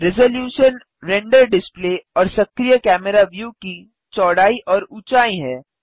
resolution render display और सक्रिय camera view की चौड़ाई और ऊंचाई है